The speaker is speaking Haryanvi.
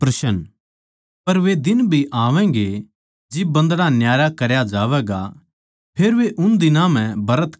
पर वे दिन भी आवैगें जिब बन्दड़ा न्यारा करया जावैगा फेर वे उन दिनां म्ह ब्रत करैगें